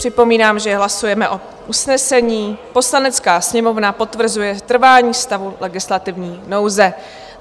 Připomínám, že hlasujeme o usnesení: "Poslanecká sněmovna potvrzuje trvání stavu legislativní nouze."